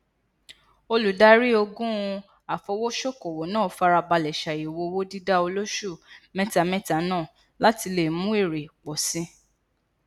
olùdarí ogun afowosokowo náà farabalẹ ṣàyẹwò owó dida oloṣù mẹtamẹta náà láti lè mú èrè pò sí i